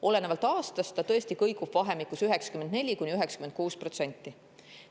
Olenevalt aastast see kõigub vahemikus 94%–96%.